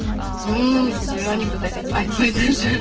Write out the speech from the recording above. назым бізде анекдот айтпайды вообще